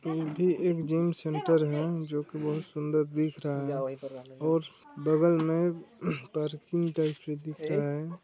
यह भी एक जिम सेंटर है जो की बहुत सुन्दर दिख रहा है और बगल में पार्किंग टाइप भी दिख रहा है।